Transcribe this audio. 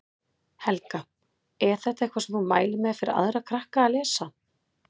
Helga: Er þetta eitthvað sem þú mælir með fyrir aðra krakka að lesa?